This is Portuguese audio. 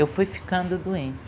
Eu fui ficando doente.